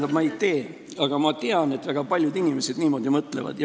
Ei, ma ei tee, aga ma tean, et väga paljud inimesed niimoodi mõtlevad.